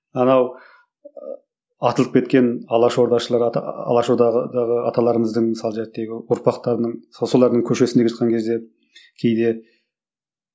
анау ы атылып кеткен алаш ордашылар алаш аталарымыздың ұрпақтарының солардың көшесінде келе жатқан кезде кейде